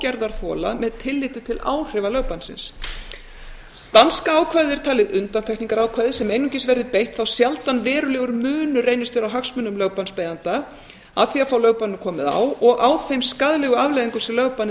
gerðarþola með tilliti til áhrifa lögbannsins danska ákvæðið er talið undantekningarákvæði sem einungis verði beitt þá sjaldan verulegur munur reynist vera á hagsmunum lögbannsbeiðanda af því að fá lögbanni komið á og þeim skaðlegu afleiðingum sem lögbannið